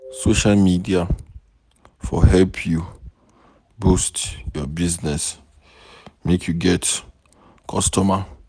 Social media for help you boost your business, make you get customer.